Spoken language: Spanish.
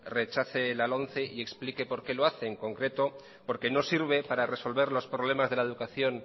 rechace la lomce y explique por qué lo hace en concreto porque no sirve para resolver los problemas de la educación